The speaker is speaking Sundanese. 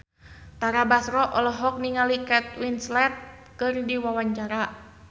Tara Basro olohok ningali Kate Winslet keur diwawancara